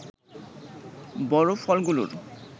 বড় ফলগুলোর